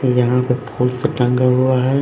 यहां पर फूल से टंगा हुआ है।